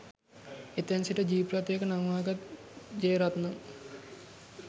එතැන් සිට ජීප් රථයක නංවාගත් ජෙයරත්නම්